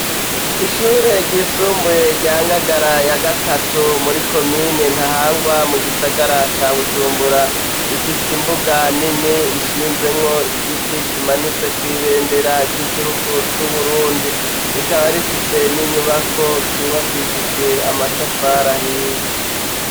Ishure ry'isumbuye rya ngagara ya gatatu muri komine ntahangwa mu gisagara ca bujumbura, ifise imbuga nini ishinzemwo igiti kimanitseko ibendera ry'igihugu c'uburundi rikaba rifise n'inyubako zubakishijwe amatafari ahiye.